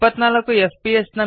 24 fps